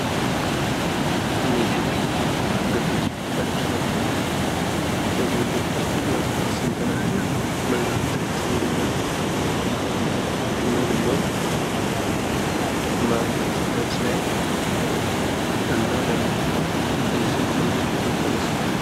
እነዚህ እግር ኳስ ተጫዋቾች ናቸው። እነዚህ የእግር ኳስ ተጫዋቾች ስንት ናቸው? ምን አይነት ልብስ ነው የለበሱት? ምን ምን ማሊያዎችን ለብሰዋል? እና ለምንድን ነው እንደዚህ ሆነው ፎቶ የተነሱት?